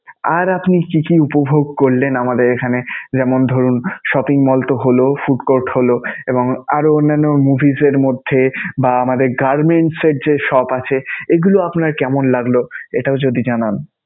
আর আপনি কি কি উপভোগ করলেন আমাদের এখানে? যেমনঃ ধরুন shopping mall তো হলো, food court হলো এবং আরও অন্যান্য movies এর মধ্যে বা আমাদের garments এর যে shop আছে, এগুলো আপনার কেমন লাগলো, এটাও যদি জানান?